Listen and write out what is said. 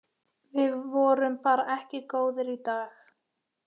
Við vorum bara ekki góðir í dag.